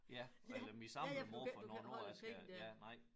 Ja eller min samlede måde for hvornår jeg skal ja nej